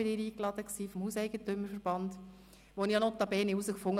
Wir freuen uns jetzt schon auf seine Rede zur Eröffnung der neuen Legislatur.